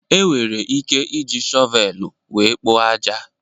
Enwere ike iji shọvelu wéé kpoo ájá.